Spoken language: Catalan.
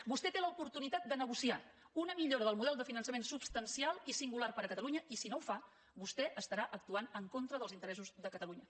vostè té l’oportunitat de negociar una millora del model de finançament substancial i singular per a catalunya i si no ho fa vostè estarà actuant en contra dels interessos de catalunya